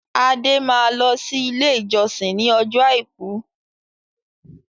Adé máa lọ sí ilé-ìjọsìn ní ọjọ́ àìkú.